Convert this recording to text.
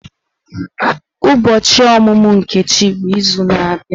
Ụbọchị ọmụmụ Nkechi bụ izu na-abịa.